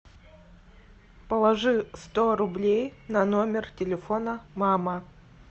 положи сто рублей на номер телефона мама